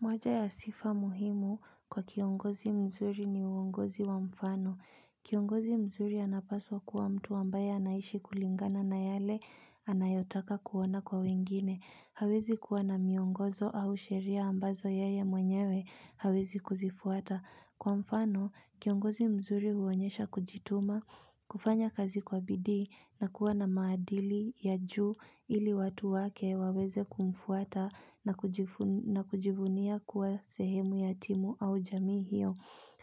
Moja ya sifa muhimu kwa kiongozi mzuri ni uongozi wa mfano. Kiongozi mzuri anapaswa kuwa mtu ambaye anaishi kulingana na yale anayotaka kuona kwa wengine. Hawezi kuwa na miongozo au sheria ambazo yeye mwenyewe hawezi kuzifuata. Kwa mfano, kiongozi mzuri huonyesha kujituma, kufanya kazi kwa bidii na kuwa na maadili ya juu ili watu wake waweze kumfuata na kujivunia kuwa sehemu ya timu au jamii hiyo.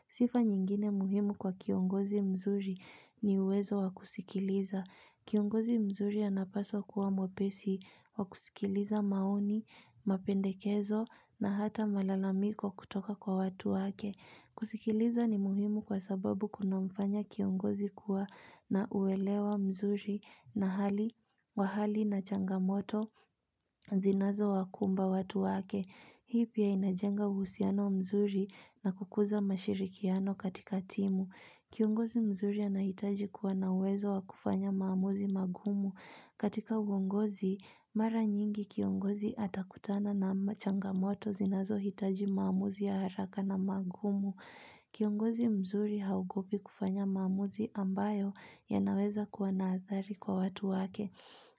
Sifa nyingine muhimu kwa kiongozi mzuri ni uwezo wakusikiliza. Kiongozi mzuri anapaswa kuwa mwepesi wakusikiliza maoni, mapendekezo na hata malalamiko kutoka kwa watu wake. Kusikiliza ni muhimu kwa sababu kuna mfanya kiongozi kuwa na uwelewa mzuri na wa hali na changamoto zinazowakumba watu wake. Hii pia inajenga uhusiano mzuri na kukuza mashirikiano katika timu. Kiongozi mzuri anahitaji kuwa na uwezo wa kufanya maamuzi magumu. Katika uongozi, mara nyingi kiongozi atakutana na changamoto zinazohitaji maamuzi ya haraka na magumu. Kiongozi mzuri haogopi kufanya maamuzi ambayo yanaweza kuwa na athari kwa watu wake,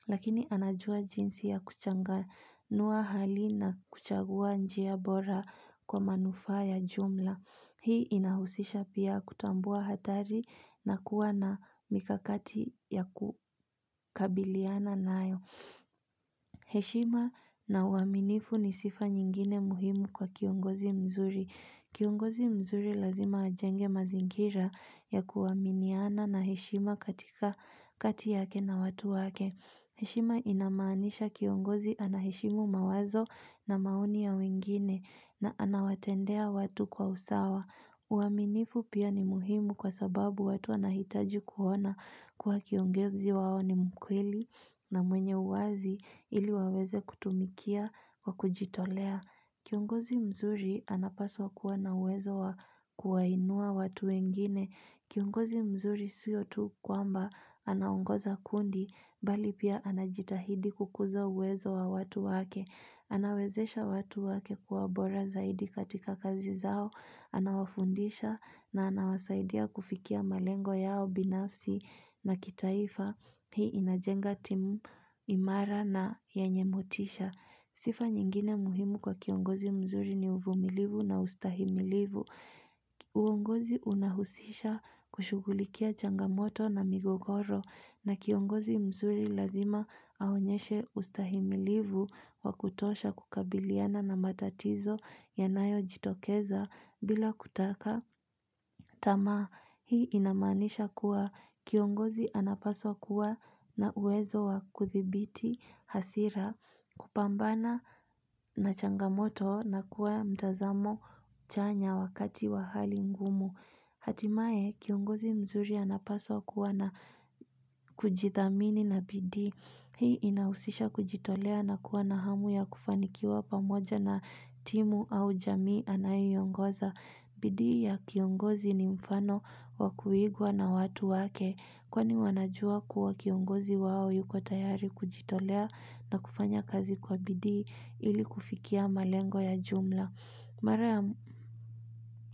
lakini anajua jinsi ya kuchanganua hali na kuchagua njia bora kwa manufa ya jumla. Hii inahusisha pia kutambua hatari na kuwa na mikakati ya kukabiliana nayo. Heshima na uaminifu ni sifa nyingine muhimu kwa kiongozi mzuri. Kiongozi mzuri lazima ajenge mazingira ya kuaminiana na heshima katika, kati yake na watu wake. Heshima inamaanisha kiongozi anaheshimu mawazo na maoni ya wengine na anawatendea watu kwa usawa. Uaminifu pia ni muhimu kwa sababu watu wanahitaji kuona kuwa kiongozi wao ni mkweli na mwenye uwazi ili waweze kutumikia kwa kujitolea. Kiongozi mzuri anapaswa kuwa na uwezo wa kuwainua watu wengine. Kiongozi mzuri sio tu kwamba anaongoza kundi, mbali pia anajitahidi kukuza uwezo wa watu wake. Anawezesha watu wake kuwa bora zaidi katika kazi zao. Anawafundisha na anawasaidia kufikia malengo yao binafsi na kitaifa. Hii inajenga timu imara na yenye motisha. Sifa nyingine muhimu kwa kiongozi mzuri ni uvumilivu na ustahimilivu. Uongozi unahusisha kushugulikia changamoto na migogoro na kiongozi mzuri lazima aonyeshe ustahimilivu wakutosha kukabiliana na matatizo yanayo jitokeza bila kutaka. Tamaa, hii inamanisha kuwa kiongozi anapaswa kuwa na uwezo wa kuthibiti hasira kupambana na changamoto na kuwa mtazamo chanya wakati wa hali ngumu. Hatimaye, kiongozi mzuri anapaswa kuwa na kujithamini na bidii. Hii inahusisha kujitolea na kuwa na hamu ya kufanikiwa pamoja na timu au jamii anayoiongoza. Bidi ya kiongozi ni mfano wakuigwa na watu wake kwani wanajua kuwa kiongozi wao yuko tayari kujitolea na kufanya kazi kwa bidii ili kufikia malengo ya jumla. Mara ya.